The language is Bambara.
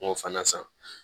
N k'o fana san